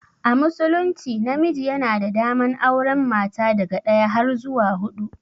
A musulunci namiji yana da daman auren mata daga daya har zuwa hudu.